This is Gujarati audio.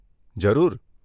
જરૂર.